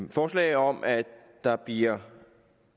et forslag om at der bliver